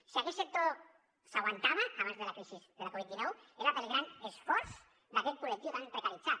si aquell sector s’aguantava abans de la crisi de la covid dinou era pel gran esforç d’aquest col·lectiu tan precaritzat